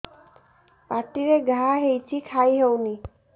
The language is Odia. ପାଟିରେ ଘା ହେଇଛି ଖାଇ ହଉନି